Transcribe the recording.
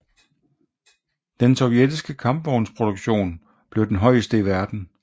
Den sovjetiske kampvognsproduktion forblev den højeste i verden